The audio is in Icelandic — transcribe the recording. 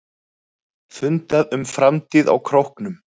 Fundað um framtíð á Króknum